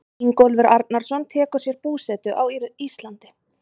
Ingólfur Arnarson tekur sér búsetu á Íslandi.